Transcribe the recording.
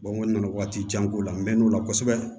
n nana waati jan k'o la n mɛ n'o la kosɛbɛ